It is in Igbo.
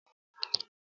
Kedu onye mapụrụ mgbidi?